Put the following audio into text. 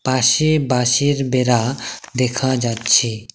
পাশে বাঁশের বেড়া দেখা যাচ্ছে।